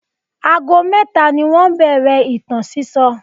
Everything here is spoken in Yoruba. Ago mẹ́ta ni wọ́n bẹ̀rẹ̀ ìtàn sísọ.